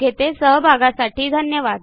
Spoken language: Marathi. आपल्या सहभागासाठी धन्यवाद